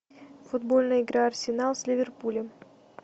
футбольная игра арсенал с ливерпулем